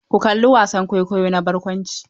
Ku kalla wasan kwaikwayo na barkwanci!